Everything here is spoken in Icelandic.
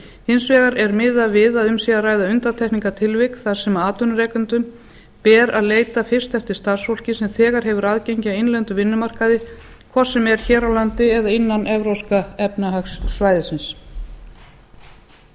hins vegar er miðað við að um sé að ræða undantekningartilvik þar sem atvinnurekendum ber að leita fyrst eftir starfsfólki sem þegar hefur aðgengi að innlendum vinnumarkaði hvort sem er hér á landi eða innan evrópska efnahagssvæðisins áður en